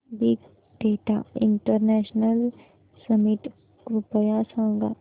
big data international summit कृपया सांगा